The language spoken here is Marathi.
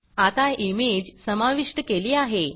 आता इमेज समाविष्ट केली आहे